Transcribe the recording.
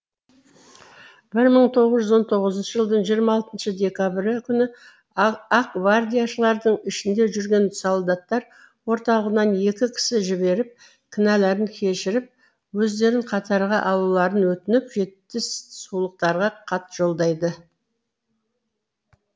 бір мың тоғыз жүз он тоғызыншы жылдың жиырма алтыншы декабрі күні ақгвардияшылардың ішінде жүрген солдаттар орталығынан екі кісі жіберіп кінәлерін кешіріп өздерін қатарға алуларын өтініп жетісулықтарға хат жолдайды